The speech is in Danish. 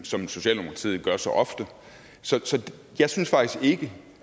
som socialdemokratiet gør så ofte så jeg synes faktisk ikke